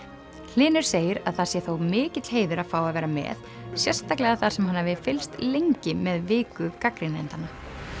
hlynur segir að það sé þó mikill heiður að fá að vera með sérstaklega þar sem hann hafi fylgst lengi með viku gagnrýnendanna